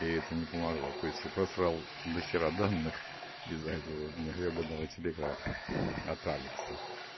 и это не помогло то есть я просрал дохера данных из-за этого гребаного телеграфа от алекса